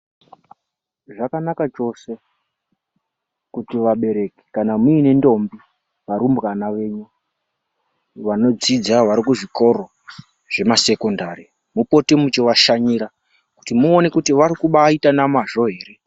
Zvakanaka chose kuti vabereki kana muine ntombi varumbwana venyu vanodzidza varikuzvikoro zvemasekondari mupote muchivashanyira kuti muone kuti varikumbaaita nemazvo here.